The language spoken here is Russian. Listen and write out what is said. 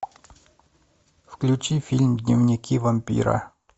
включи фильм дневники вампира